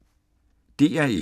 DR1